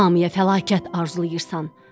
Hamıya fəlakət arzulayırsan.